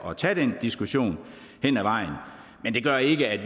at tage den diskussion hen ad vejen men det gør ikke at